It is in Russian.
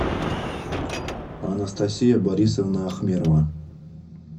анастасия борисовна ахмерова